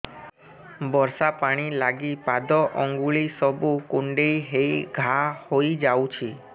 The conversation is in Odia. ବର୍ଷା ପାଣି ଲାଗି ପାଦ ଅଙ୍ଗୁଳି ସବୁ କୁଣ୍ଡେଇ ହେଇ ଘା ହୋଇଯାଉଛି